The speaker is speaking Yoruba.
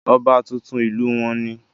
ọba tuntun ìlú wọn ni